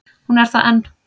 Hún er það enn.